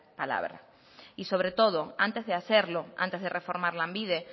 palabra y sobre todo antes de hacerlo antes de reformar lanbide